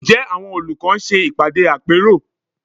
Ǹjẹ́ àwọn olùkọ́ ń ṣe ìpàdé àpérò?